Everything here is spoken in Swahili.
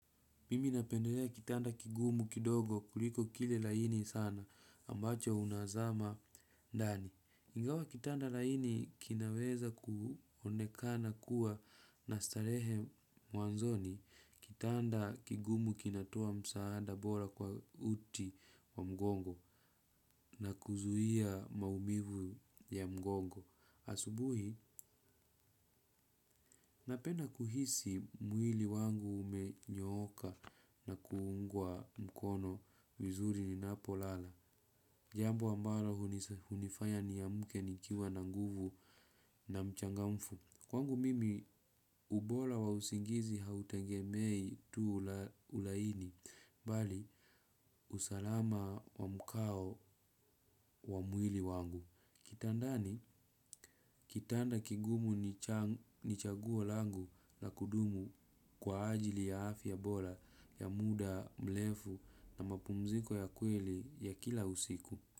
Mimi napendelea kitanda kigumu kidogo kuliko kile laini sana ambacho unazama ndani. Ingawa kitanda laini kinaweza kuonekana kuwa na starehe mwanzoni kitanda kigumu kinatoa msaada bora kwa uti wa mgongo na kuzuia maumivu ya mgongo. Asubuhi, napenda kuhisi mwili wangu umenyooka na kuungwa mkono vizuri ninapo lala. Jambo ambalo hunifaya niamke nikiwa na nguvu na mchangamfu. Kwangu mimi, ubora wa usingizi hautegemei tu ulaini, bali usalama wa mkao wa mwili wangu. Kitandani, kitanda kigumu ni chaguo langu la kudumu kwa ajili ya afya bora ya muda, mrefu na mapumziko ya kweli ya kila usiku.